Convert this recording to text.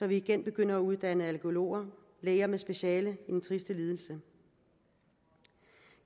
vi igen begynder at uddanne allergologer læger med speciale i den triste lidelse